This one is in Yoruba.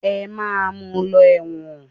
Ẹ máa mu lọ ẹ̀wọ̀n.